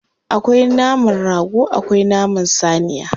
Akwai naman rago akwai naman saniya.